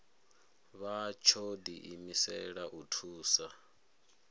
vha tsho diimisela u thusa